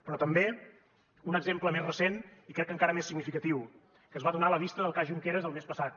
però també un exemple més recent i crec que encara més significatiu que es va donar a la vista del cas junqueras el mes passat